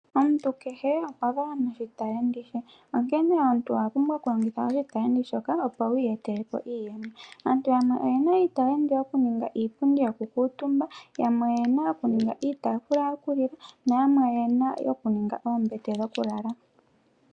Omuntu kehe okwa valwa noshitalenti she. Onkene omuntu owa pumbwa okulongitha oshitalenti shoka opo wu iyetele po iiyemo. Aantu yamwe oyena iitalenti yokuninga iipundi yokukuutumba, yamwe oyena iitalenti yokuninga iitaafula yokulila nayamwe oyena iitalenti yokuninga oombete dhokulala.